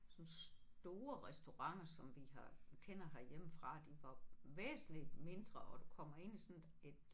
Sådan nogle store restauranter som vi har vi kender herhjemmefra de var væsentligt mindre og du kommer ind i sådan et et